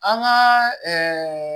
An ka ɛɛ